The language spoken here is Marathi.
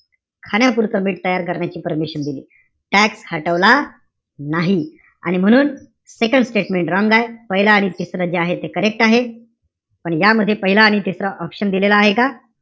खाण्यापुरतं मीठ तयार करण्याची permission दिली. Tax हटवला? नाही. आणि म्हणून second statement wrong आहे. पाहिलं आणि तिसरं जे आहे ते correct आहे. पण यामध्ये पहिला आणि तिसरा option दिलेला आहे का?